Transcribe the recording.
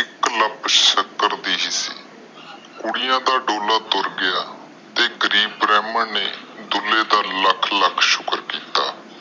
ਇਕ ਸ਼ਿਕਾਰ ਦੇ ਸ਼ੀਸ਼ੀ ਸੀ ਗਰੀਬ ਕੁੜੀਆਂ ਦਾ ਦੁੱਲਾ ਤੁਰ ਗਿਆ ਤੇ ਗਰੀਬ ਬ੍ਰਾਹਮਣ ਨੇ ਡੁਲ੍ਹੇ ਦਾ ਲੱਖ ਲੱਖ ਸ਼ੁਕਰ ਕੀਤਾ